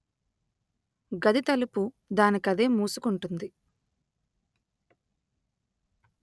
గది తలుపు దానికదే మూసుకుంటుంది